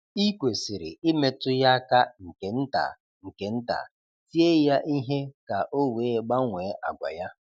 I kwesịrị imetụ ya aka nke nta nke nta, tie ya ihe ka o wee gbanwee àgwà ya.